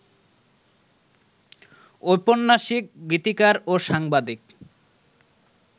ঔপন্যাসিক, গীতিকার ও সাংবাদিক